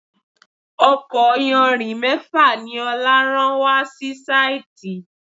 Ọkọ̀ iyanrìn mẹ́fà ni Ọlá rán wa si síìtí.